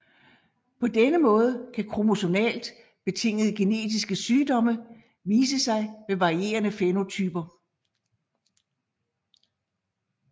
På denne måde kan kromosomalt betingede genetiske sygdomme vise sig med varierende fænotyper